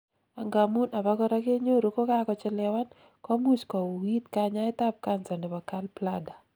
angamun abakora kenyoru kokakochelewan, komuch kowuuit kanyaet ab cancer nebo gallbladder